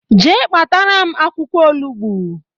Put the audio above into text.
Jee kpataram akwukwo olugbu